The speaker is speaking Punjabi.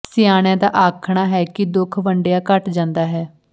ਸਿਆਣਿਆਂ ਦਾ ਆਖਣਾ ਹੈ ਕਿ ਦੁੱਖ ਵੰਡਿਆਂ ਘਟ ਜਾਂਦਾ ਹੈ